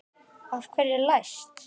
Af hverju er læst?